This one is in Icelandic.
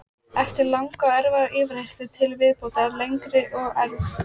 Eftir langa og erfiða yfirheyrslu til viðbótar langri og erf